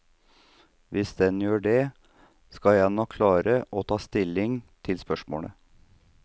Hvis den gjør det, skal jeg nok klare å ta stilling til spørsmålet.